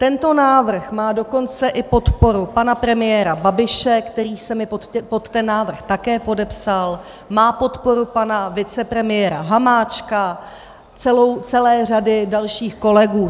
Tento návrh má dokonce i podporu pana premiéra Babiše, který se mi pod ten návrh také podepsal, má podporu pana vicepremiéra Hamáčka, celé řady dalších kolegů.